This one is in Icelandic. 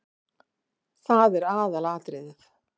Það er aðalatriðið.